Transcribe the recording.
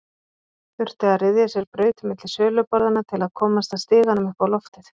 Þurfti að ryðja sér braut milli söluborðanna til að komast að stiganum upp á loftið.